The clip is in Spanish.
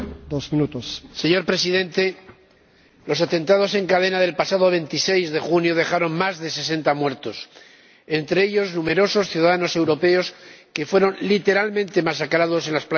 Señor Presidente, los atentados en cadena del pasado 26 de junio dejaron más de sesenta muertos, entre ellos numerosos ciudadanos europeos que fueron literalmente masacrados en las playas de Túnez.